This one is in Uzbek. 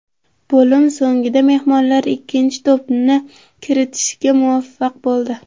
Bo‘lim so‘nggida mehmonlar ikkinchi to‘pni kiritishga muvaffaq bo‘ldi.